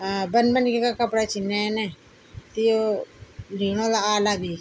अ बन बनिका कपड़ा छीन नया नया त यो लीन वाला आला भी।